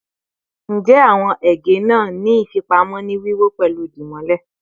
Njẹ awọn ege naa ni ifipamo ni wiwọ pẹlu dimole?